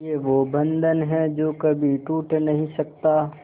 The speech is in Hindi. ये वो बंधन है जो कभी टूट नही सकता